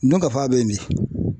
Dunkafa bɛ min?